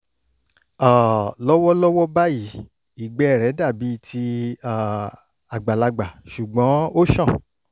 um lọ́wọ́lọ́wọ́ báyìí ìgbẹ́ rẹ̀ dàbí ti um àgbàlagbà ṣùgbọ́n ó ṣàn